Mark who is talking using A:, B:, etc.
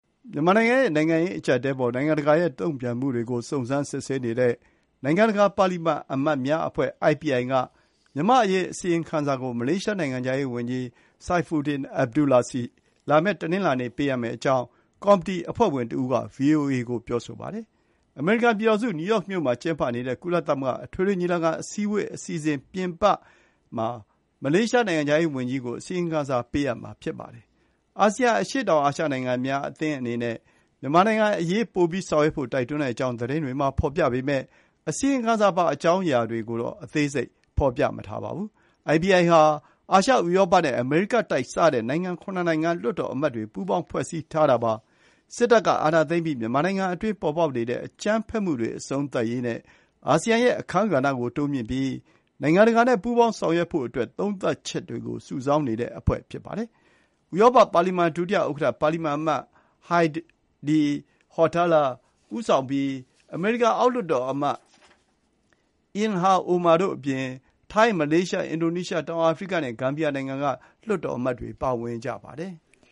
A: မြန်မာနိုင်ငံရဲ့ နိုင်ငံရေးအကျပ်အတည်းအပေါ် နိုင်ငံတကာရဲ့ တုံ့ပြန်မှုတွေကို စုံစမ်းစစ်ဆေးနေတဲ့ နိုင်ငံတကာ ပါလီမန်အမတ်များအဖွဲ့ (IPI) က မြန်မာ့အရေး အစီရင်ခံစာကို မလေးရှားနိုင်ငံခြားရေး ဝန်ကြီး Saifuddin Abdullah ဆီ လာမယ့် တနင်္လာနေ့ ပေးအပ်မယ့်အကြောင်း ကော်မတီအဖွဲ့ဝင် တဦးက VOA ကို ပြောဆိုပါတယ်။ အမေရိကန်ပြည်ထောင်စု နယူးယောက်မြို့မှာ ကျင်းပနေတဲ့ ကုလသမဂ္ဂ အထွေထွေညီလာခံ အစည်းအဝေး အစီအစဉ် ပြင်ပမှာ မလေးရှားနိုင်ငံခြားရေးဝန်ကြီးကို အစီရင်ခံစာပေးအပ်မှာဖြစ်ပါတယ်။ အာဆီယံ အရှေ့တောင်အာရှနိုင်ငံများ အသင်းအနေနဲ့ မြန်မာနိုင်ငံအရေး ပိုပြီးဆောင်ရွက်ဖို့ တိုက်တွန်းတဲ့အကြောင်း သတင်းတွေမှာ ဖေါ်ပြပေမဲ့ အစီရင်ခံစာပါ အကြောင်းအရာတွေကိုတော့ အသေးစိတ် ဖေါ်ပြမထားပါဘူး။ IPI ဟာ အာရှ၊ ဥရောပနဲ့ အမေရိကတိုက်စတဲ့ နိုင်ငံ ၇ နိုင်ငံက လွှတ်တော်အမတ်တွေ ပူးပေါင်းပြီး စစ်တပ်က အာဏာသိမ်းပြီး မြန်မာနိုင်ငံအတွင်း ပေါ်ပေါက်နေတဲ့ အကြမ်းဖက်မှုတွေ အဆုံးသတ်ရေးနဲ့ အာဆီယံရဲ့ အခန်းကဏ္ဍကို တိုးမြှင့်ရေး နိုင်ငံတကာနဲ့ ပူးပေါင်းဆောင်ရွက်ဖို့ သုံးသပ်ချက်တွေကို စုဆောင်းနေတဲ့ အဖွဲ့ဖြစ်ပါတယ်။ ဥရောပ ပါလီမန် ဒုဥက္ကဋ္ဌ ပါလီမန်အမတ် Heidi Hautala ဦးဆောင်ပြီး အမေရိကန် အောက်လွှတ်တော်အမတ် Ilhan Omar တို့အပြင် ထိုင်း၊ မလေးရှား၊ အင်ဒိုနီးရှား၊ တောင်အာဖရိကနဲ့ ဂမ်ဘီယာနိုင်ငံက လွှတ်တော်အမတ်တွေ ပါဝင်ပါတယ်။